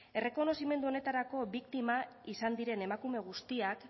errekonozimendu honetarako biktima izan diren emakume guztiak